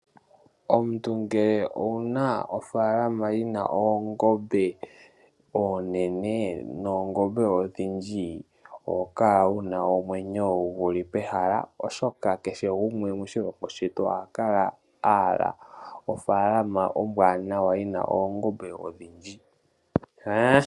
Omuntu ngele owuna ofaalama yina oongombe oonene noongombe odhindji, oho kala wuna omwenyo guli pehala oshoka kehe gumwe moshilongo shetu oha kala ahala ofaalama ombwaanawa yina oongombe odhindji.